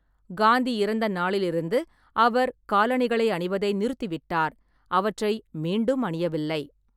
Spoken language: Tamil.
காந்தி இறந்த நாளிலிருந்து அவர் காலணிகளை அணிவதை நிறுத்திவிட்டார், அவற்றை மீண்டும் அணியவில்லை.